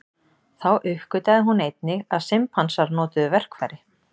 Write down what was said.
Þá uppgötvaði hún einnig að simpansar notuðu verkfæri.